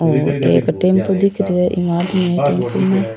और एक टेम्पू दिख रो है इंग आदमी भी --